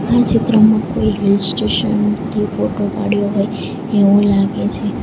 આ ચિત્રમાં કોઈ હિલ સ્ટેશન થી ફોટો પાડ્યો હોય એવુ લાગે છે.